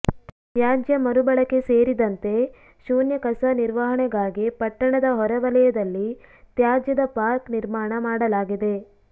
ತ್ಯಾಜ್ಯ ಮರುಬಳಕೆ ಸೇರಿದಂತೆ ಶೂನ್ಯ ಕಸ ನಿರ್ವಹಣೆಗಾಗಿ ಪಟ್ಟಣದ ಹೊರವಲಯದಲ್ಲಿ ತ್ಯಾಜ್ಯದ ಪಾರ್ಕ್ ನಿರ್ಮಾಣ ಮಾಡಲಾಗಿದೆ